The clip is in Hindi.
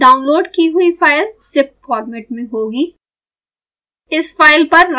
ध्यान दें डाउनलोड की हुई फाइल ज़िप फॉर्मेट में होगी